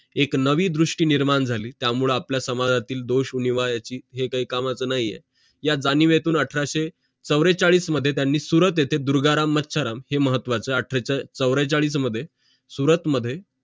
एक नवीन दृष्टी निर्माण झाली त्या मुळे आपला समजातील हे काही कामाचं नाही आहे या जाणिवेतुन अठराशे चवडेंचाडीस मध्ये त्यांनी सुरत येते दुर्गाराम मत्सराम हे महत्वाचं आहे अठराशें चवडेंचाडीस मध्ये सुरत मध्ये